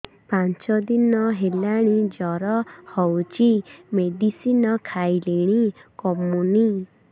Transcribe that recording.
ପାଞ୍ଚ ଦିନ ହେଲାଣି ଜର ହଉଚି ମେଡିସିନ ଖାଇଲିଣି କମୁନି